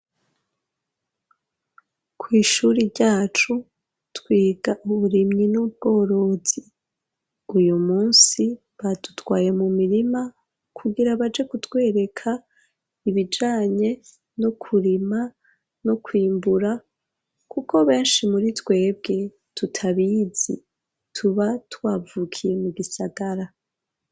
Kw'ishuri ryacu, twiga uburimyi n'ubworozi; uyu munsi badutwaye mu mirima, kugira baje gutwereka ibijanye no kurima no kwimbura; kuko benshi muri twebwe tutabizi, tuba twavukiye mu gisagara.